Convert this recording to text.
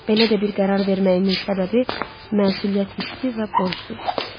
Belə də bir qərar verməyimin səbəbi məsuliyyət hissi və borcdur.